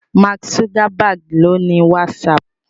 Mark Zuckerberg ló ní WhatsApp